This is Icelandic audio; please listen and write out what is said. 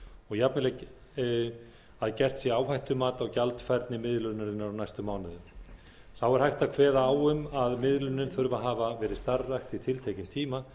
og jafnvel að gert sé áhættumat á gjaldfærni miðlunarinnar á næstu mánuðum þá er hægt að kveða á um að miðlunin þurfi að hafa verið starfrækt í tiltekinn tíma